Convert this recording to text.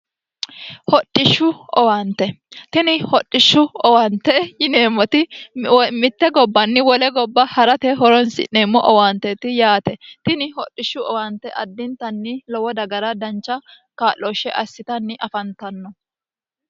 hodhishshu owaante tini hodhishshu owante yineemmoti mitte gobbanni wole gobba ha'rate horonsi'neemmo owaanteeti yaate tini hodhishshu owante addintanni lowo dagara dancha kaa'looshshe assitanni afantanno